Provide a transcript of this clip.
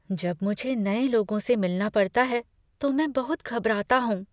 जब मुझे नए लोगों से मिलना पड़ता है तो मैं बहुत घबराता हूँ।